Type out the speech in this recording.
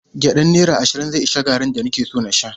Gyaɗan naira ashirin zai ishe garri da nake son in sha.